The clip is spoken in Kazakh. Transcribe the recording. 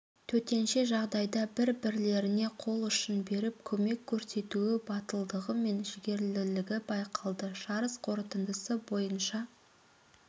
төтенше жағдайда бір-бірлеріне қол ұшын беріп көмек көрсетуі батылдығы мен жігерлілігі байқалды жарыс қорытындысы бойынша